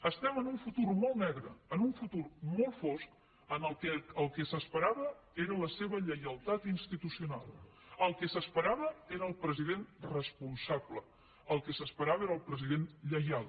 estem en un futur molt negre en un futur molt fosc en el qual el que s’esperava era la seva lleialtat institucional el que s’esperava era el president responsable el que s’esperava era el president lleial